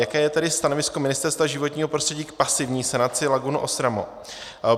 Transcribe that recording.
Jaké je tedy stanovisko Ministerstva životního prostředí k pasivní sanaci lagun Ostramo?